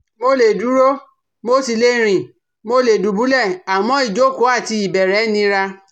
Mo lè dúró mo sì le rìn mo lè dùbúlẹ̀ àmọ́ ìjókòó àti ìbẹ̀rẹ̀ nira